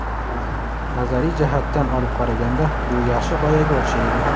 Nazariy jihatdan olib qaraganda bu yaxshi g‘oyaga o‘xshaydi.